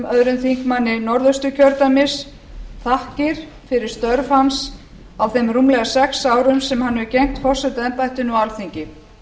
háttvirtan öðrum þingmönnum norðausturkjördæmis þakkir fyrir störf hans á þeim rúmlega sex árum sem hann hefur gegnt forsetaembættinu á alþingi